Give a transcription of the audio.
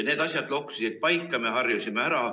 Need asjad loksusid paika, me harjusime ära.